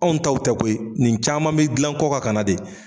Anw taw tɛ koyi nin caman be gilan kɔ kan ka na de